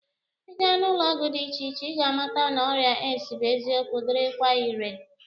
Ị gaa n'ụlọọgwụ dị iche iche ka ị ga-amata na ọrịa AIDS bụ eziokwu dịrịkwa ire